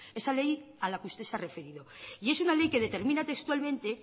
esa ley a la que usted se ha referido y es una ley que determina textualmente